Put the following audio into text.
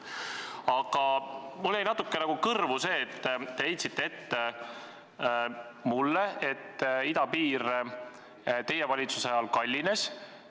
Aga mul riivas natukene kõrva, et te heitsite mulle ette, et idapiiri ehitus osutus teie valitsuse ajal kallimaks.